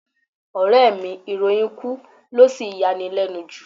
Ọ̀rẹ́ẹ̀ mi ìròyìn ikú lo sì yanilẹ́nu jù.